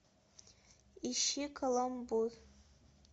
ищи каламбур